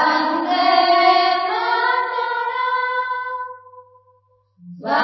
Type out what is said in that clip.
Vande Mataram